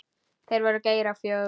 Það var Geir á fjögur.